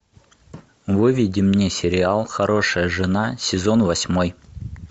выведи мне сериал хорошая жена сезон восьмой